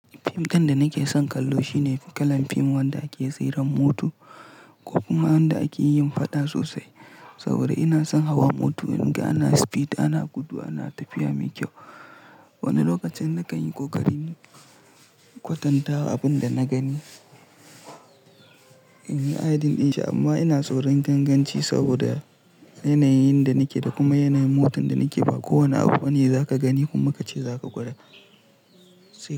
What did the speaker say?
Fim ɗin da nake son kallo shine kalan fim wanda ake tsiran moto ko kuma wanda ake yin faɗa sosai. Saboda ina son hawa mota in ga ana speed, ana gudu, ana tafiya mai kyau. Wani lokacin na kan yi kokarin kwatanta abin da na gani in yi adin dinshi amma ina tsoron ganganci saboda yanayin da nake da kuma yanayin motan da nake ba kowane abu ne za ka gani kuma ka ce za ka gwada.